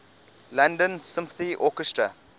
london symphony orchestra